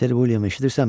Ser William, eşidirsənmi?